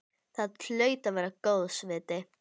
Það hlaut að vera góðs viti.